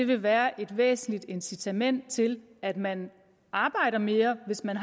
vil være et væsentligt incitament til at man arbejder mere hvis man